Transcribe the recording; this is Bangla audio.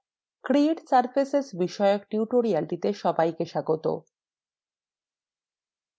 নমস্কার create surfaces বিষয়ক টিউটোরিয়ালটিতে সবাইকে স্বাগত